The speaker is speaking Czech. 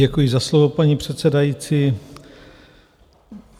Děkuji za slovo, paní předsedající.